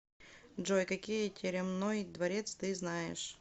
джой какие теремной дворец ты знаешь